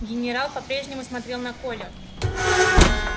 генерал по прежнему смотрел на колю